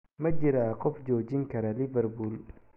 Ma jiraa qof joojin kara Liverpool?